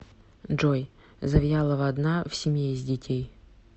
джой завьялова одна в семье из детей